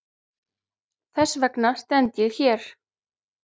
Þess vegna stend ég hér.